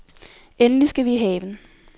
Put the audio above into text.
Endelig skal vi i haven.